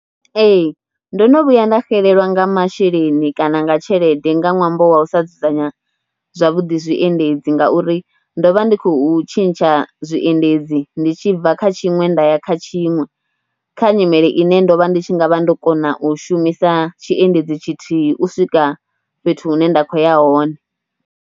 Ee ndo no vhuya nda xelelwa nga masheleni kana nga tshelede nga ṅwambo wa u sa dzudzanya zwavhuḓi zwiendedzi ngauri ndo vha ndi khou tshintsha zwiendedzi, ndi tshi bva kha tshiṅwe nda ya kha tshiṅwe kha nyimele ine ndo vha ndi tshi nga vha ndo kona u shumisa tshiendedzi tshithihi u swika fhethu hune nda khou ya hone.